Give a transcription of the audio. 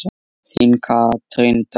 Þín Katrín Dögg.